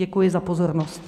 Děkuji za pozornost.